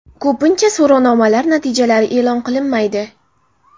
Ko‘pincha so‘rovnomalar natijalari e’lon qilinmaydi.